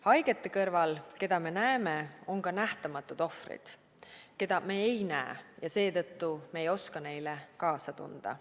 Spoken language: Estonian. Haigete kõrval, keda me näeme, on ka nähtamatud ohvrid, keda me ei näe ja seetõttu me ei oska neile kaasa tunda.